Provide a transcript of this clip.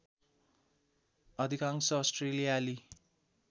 अधिकांश अस्ट्रेलियाली